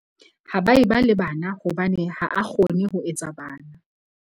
Ha ba e ba le bana hobane ha a kgone ho etsa bana.